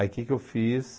Aí o que que eu fiz?